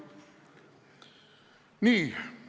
Nii.